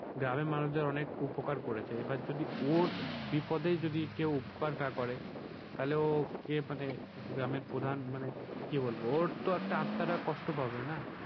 গ্রামের মানুষদের অনেক উপকার করেছে। এবার যদি ওর বিপদে যদি কেউ উপকার না করে তাহলে ওকে মানে গ্রামের প্রধান মানে কি বলবো ওর তো একটা আত্মাটা কষ্ট পাবে না।